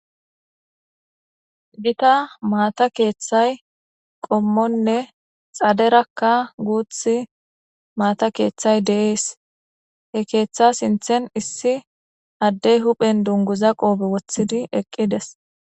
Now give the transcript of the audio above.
gita maata keeththay qommonne xaderakka guuth maata keeththay deees he keeththa sinthen issi addey huphen dunguza qoobe woththidi eqqides